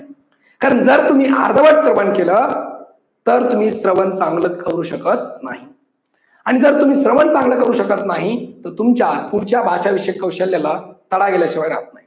कारण जर तुम्ही अर्धवट श्रवण केलं तर तुम्ही श्रवण चांगलं करू शकत नाही. आणि जर तुम्ही श्रवण चांगले करू शकत नाही तर तुमच्या पुढच्या भाषा विषयी कौशल्याला तडा गेल्याशिवाय राहणार